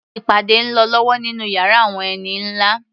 Ìpàdé ń lọ lọ́wọ́ nínú yàrá àwọn ẹni nlá